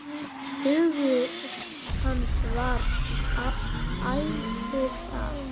Hugur hans var ætíð þar.